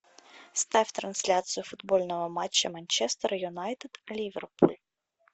ставь трансляцию футбольного матча манчестер юнайтед ливерпуль